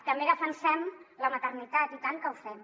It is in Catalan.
també defensem la maternitat i tant que ho fem